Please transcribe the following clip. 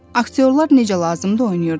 Aktyorlar necə lazımdı oynayırdılar.